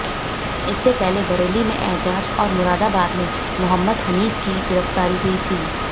इससे पहले बरेली में एजाज और मुरादाबाद में मुहम्मद हनीफ की गिरफ्तारी हुई थी